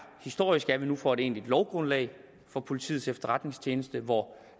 historisk er at vi nu får et egentligt lovgrundlag for politiets efterretningstjeneste hvor